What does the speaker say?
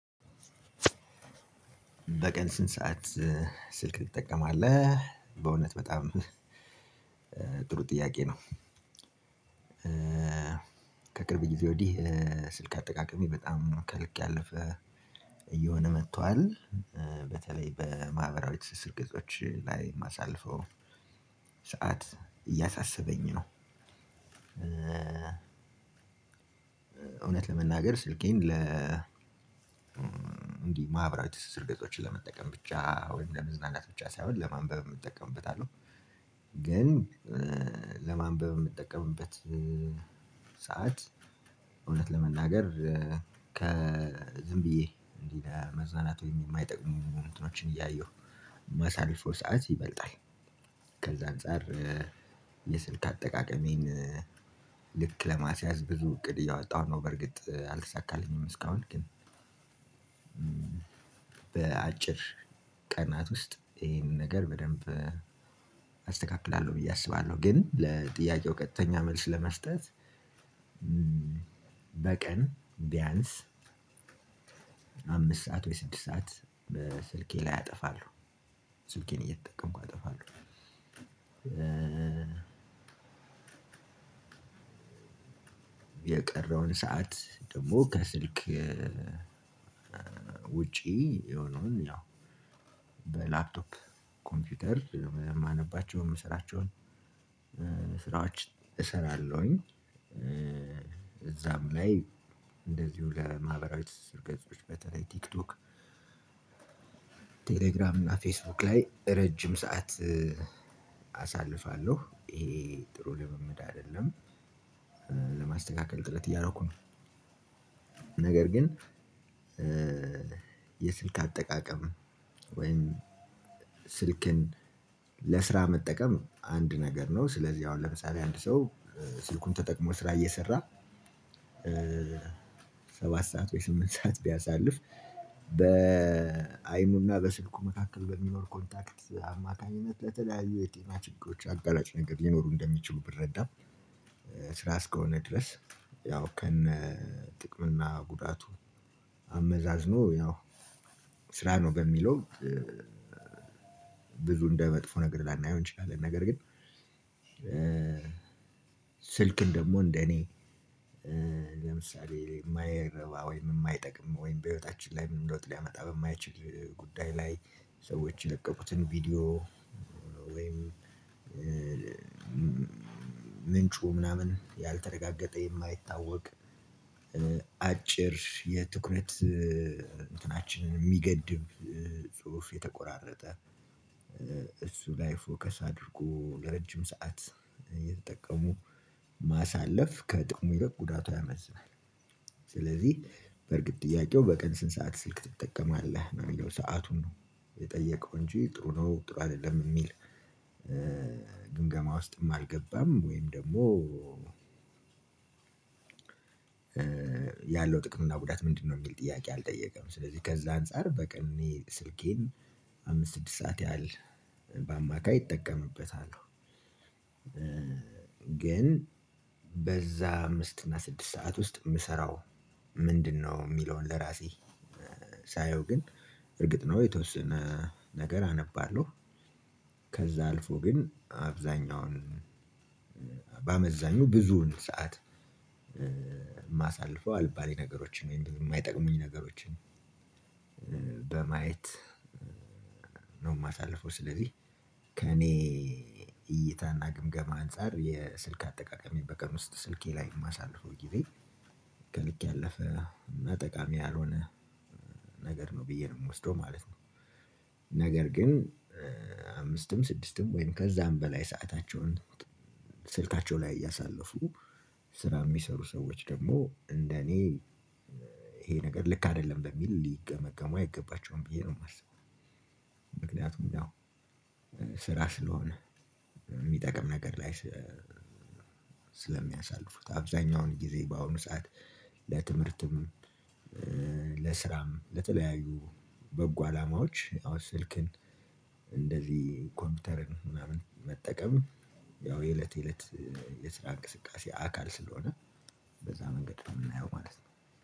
በቀን ስንት ሰዓት ስልክ ትጠቀማለህ? በእውነት በጣም ጥሩ ጥያቄ ነው። ከቅርብ ጊዜ ወዲህ ስልክ አጠቃቀሜ በጣም ከልክ ያለፈ እየሆነ መጥቷል። በተለይ በማህበራዊ ትስስር ግጾች ላይ እማሳልፈው ሰዓት እያሳሰበኝ ነው። እውነት ለመናገር ስልኬን ለ እንዲህ ማህበራዊ ትስስር ገጽችን ለመጠቀም ብቻ ወይም ለመዝናናት ብቻ ሳይሆን ለማንበብም እጠቀምበታለሁ። ግን ለማንበብ እምጠቀምበት ሰዓት እውነት ለመናገር ከዝምብዬ እንዲህ ለመዝናናት ወይም እማይጠቅሙ እንትኖችን እያየሁ እማሳልፈው ሰዓት ይበልጣል። ከዛ አንፃር የስልክ አጠቃቀሜን ልክ ለማስያዝ ብዙ እቅድ እያወጣሁ ነው። በርግጥ አልተሳካልኝም እስካሁን ግን። በአጭር ቀናት ውስጥ ይሄንን ነገር በደንብ አስተካክላለሁ ብዬ አስባለሁ። ግን ለጥያቄው ቀጥተኛ መልስ ለመስጠት በቀን ቢያንስ አምስት ሰዓት ወይ ስድስት ሰዓት በስልኬ ላይ ያጠፋሉ። ስልኬን እየተጠቀምኩ አጠፋለሁ። የቀረውን ሰዓት ደግሞ ከስልክ ውጪ የሆነውን ያው በላፕቶፕ ኮምፒውተር እማነባቸውን እምሰራቸውን ስራዎች እሰራለሁኝ። እዛም ላይ እንደዚሁ ለማህበራዊ ትስስር ገጾች በተለይ ቲክቶክ ቴሌግራም እና ፌስቡክ ላይ ረጅም ሰዓት አሳልፋለሁ። ይሄ ጥሩ ልምምድ አይደለም። ለማስተካከል ጥረት እያረኩ ነው። ነገር ግን የስልክ አጠቃቀም ወይም ስልክን ለስራ መጠቀም አንድ ነገር ነው። ስለዚህ አሁን ለምሳሌ አንድ ሰው ስልኩን ተጠቅሞ ስራ እየሰራ ሰባት ሰዓት ወይ ስምንት ሰዓት ቢያሳልፍ በአይኑና በስልኩ መካከል በሚኖር ኮንታክት አማካኝነት በተለያዩ የጤና ችግሮች አጋራጭ ነገር ሊኖሩ እንደሚችሉ ብረዳም። ስራ አስከሆነ ድረስ ያው ከነ ጥቅም እና ጉዳቱ አመዛዝኖ ያው ስራ ነው። በሚለው ብዙ እንደ መጥፎ ነገር ላናየው እንችላለን። ነገር ግን ስልክን ደግሞ እንደ እኔ ለምሳሌ እማይረባ ወይም እማይጠቅም ወይም በህይወታችን ላይ ምን ለውጥ ሊያመጣ በማይችል ጉዳይ ላይ ሰዎች የለቀቁትን ቪዲዮ ወይም ምንጩ ምናምን ያልተረጋገጠ የማይታወቅ አጭር የትኩረት እንትናችንን እሚገድብ ጽሁፍ የተቆራረጠ እሱ ላይ ፎከስ አድርጎ ለረጅም ሰዓት እየተጠቀሙ ማሳለፍ ከጥቁሙ ይረቅ ጉዳቱ ያመዝናል። ስለዚህ በርግጥ ጥያቄው በቀን ስንት ሰዓት ስልክ ትጠቀማለህ ነው? አሚለው ሰአቱን ነው የጠየቀው እንጂ ጥሩ ነው ጥሩ አይደለም እሚል ግምገማ ውስጥም አልገባም። ወይም ደግሞ ያለው ጥቅም እና ጉዳት ምንድነው? የሚል ጥያቄ አልጠየቀም ስለዚህ ከዛ አንፃር በቀን አኔ ስልኬን አምስት ስድስት ሰዓት ያህል በአማካይ ይጠቀምበታለሁ። ግን በዛ አምስት እና ስድስት ሰዓት ውስጥ እምሰራው ምንድነው እሚለውን ለራሴ ሳየው ግን እርግጥ ነው የተወሰነ ነገር አነባለሁ። ከዛ አልፎ ግን አብዛኛውን በ አመዛኙ ብዙውን ሰዓት እማሳል ፈው አልባሌ ነገሮችን ወይም ደግሞ እማይጠቅሙኝ ነገሮችን በማየት ነው። እማሳልፈው ስለዚህ ከእኔ እይታና ግምገማ አንፃር የስልክ አጠቃቀሜን በቀን ውስጥ ስልኬ ላይ እማሳልፈው ጊዜ ከልክ ያለፈ እና ጠቃሚ ያልሆነ ነገር ነው ብዬ ነው እምወስደው ማለት ነው። ነገር ግን አምስትም ስድስትም ወይም ከዛም በላይ ሰአታቸውን ስልካቸው ላይ እያሳለፉ ስራ እሚሰሩ ሰዎች ደግሞ እንደኔ ይሄ ነገር ልክ አይደለም በሚል ሊገመገሙ አይገባቸውም ብዬ ነው እማስበው። ምክንያቱም ስራ ስለሆነ የሚጠቅም ነገር ላይ ስለሚያሳልፉት አብዛኛውን ጊዜ በአሁኑ ሰዓት ለትምህርትም ለስራም ለተለያዩ በጎ አላማዎች ያው ስልክን እንደዚህ ኮምፒውተርን ምናምን መጠቀም ያው የእለት የእለት የስራ እንቅስቃሴ አካል ስለሆነ በዛ መንገድ ነው እምናየው ማለት ነው።